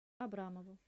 абрамову